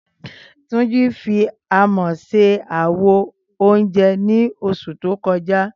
Túnjí fi amọ̀ ṣe àwo oúnjẹ ní oṣù tó kọjá